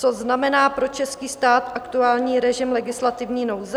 Co znamená pro český stát aktuální režim legislativní nouze?